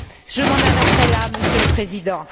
Je m'arrêterai là, Monsieur le Président.